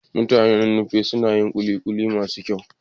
Mutanen Nupe suna yin kulikuli mafi kyau.